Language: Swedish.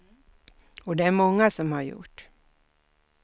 Och det är många som har gjort.